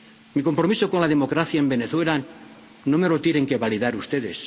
eso. Mi compromiso con la democracia en Venezuela no me lo tienen que validar ustedes